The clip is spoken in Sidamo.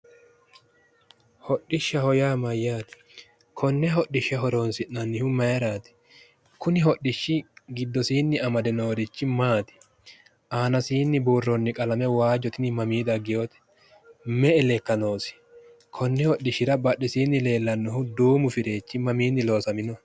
Hodhishaho yaa mayyaate? konne hodishsha horonsi'nannihu mayiiraati? kuni giddosinni amade noorichi maati? aanasinni buuroonniti qalame tini mami daggewoote?me"e lekka noosi? konni hodhishshira badheesinni loosaminohu duumu fireechi mamiinni loosaminoho?